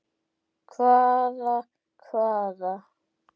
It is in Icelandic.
Hvaða hvaða.